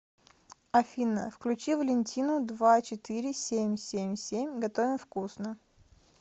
афина включи валентину два четыре семь семь семь готовим вкусно